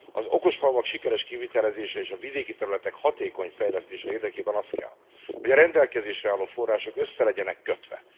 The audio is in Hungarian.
Az okos falvak sikeres kivitelezése és a vidéki területek hatékony fejlesztése érdekében az kell, hogy a rendelkezésre álló források össze legyenek kötve.